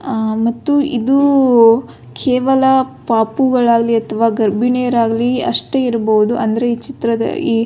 ಆ ಮತ್ತು ಇದು ಕೇವಲ ಪಾಪುಗಳಾಗಲಿ ಅಥವ ಗರ್ಭಿಣಿ ಯರಾಗ್ಲಿ ಅಷ್ಟೆ ಇರ್ಬಹುದು ಅಂದ್ರೆ ಈ ಚಿತ್ರದ ಈ --